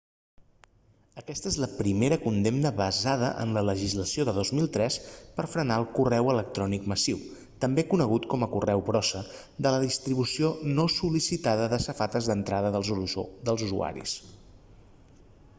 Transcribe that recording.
aquesta és la primera condemna basada en la legislació de 2003 per frenar el correu electrònic massiu també conegut com a correu brossa de la distribució no sol·licitada a les safates d'entrada dels usuaris